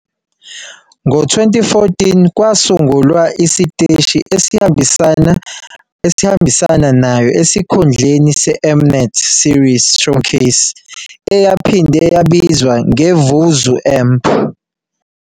Ngo-2014, kwasungulwa isiteshi esihambisana nayo esikhundleni seM-Net Series Showcase eyaphinde yabizwa ngeVuzu Amp.